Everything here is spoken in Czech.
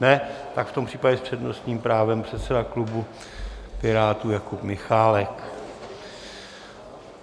Ne, tak v tom případě s přednostním právem předseda klubu Pirátů Jakub Michálek.